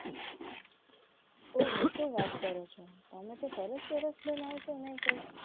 ઓહો તો વાત કરો છો તમે તો તરત તરત બનાવવું છે. ના કોઈ